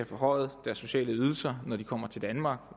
forhøjet deres sociale ydelser når de kommer til danmark